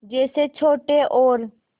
जैसे छोटे और